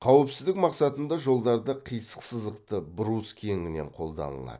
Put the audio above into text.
қауіпсіздік мақсатында жолдарда қисық сызықты брус кеңінен қолданылады